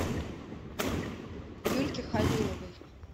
юльке халиловой